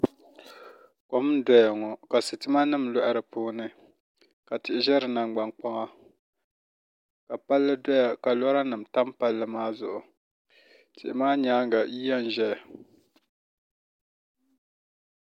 Kom n doya ŋo ka sitima nim loɣa di puuni ka tihi ʒɛ di nangbani kpaŋa ka palli doya ka lora nim tam Palli maa zuɣu tihi maa nyaanga yiya n ʒɛya